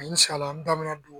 N sala n dan bɛ na don